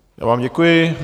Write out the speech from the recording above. Já vám děkuji.